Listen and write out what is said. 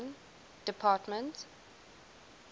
department